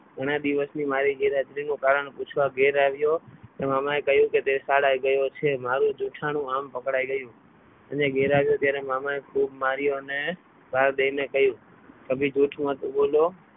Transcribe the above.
ઘણા દિવસની મારી ગેરહાજરીનું કારણ પૂછવામાં પૂછવા ઘરે આવ્યો તે મામાએ કહ્યું કે તે શાળાએ ગયો છે મારું જૂઠાણું આમ પકડાઈ ગયું અને ઘેર આવ્યો એટલે મામાએ ખૂબ માર્યો અને ગાળ દઈને કહ્યું કે ભાઈ જૂઠ મત બોલો